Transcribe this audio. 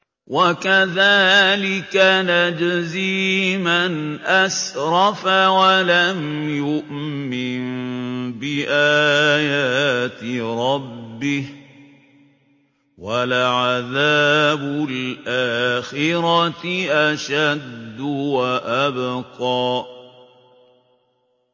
وَكَذَٰلِكَ نَجْزِي مَنْ أَسْرَفَ وَلَمْ يُؤْمِن بِآيَاتِ رَبِّهِ ۚ وَلَعَذَابُ الْآخِرَةِ أَشَدُّ وَأَبْقَىٰ